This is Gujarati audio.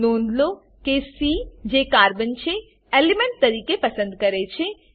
નોંધ લો કે સી જે કાર્બન છે એલિમેન્ટ તરીકે પસંદ કરેલ છે